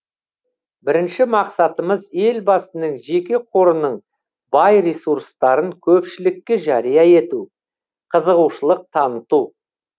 бірінші мақсатымыз елбасының жеке қорының бай ресурстарын көпшілікке жария ету қызығушылық таныту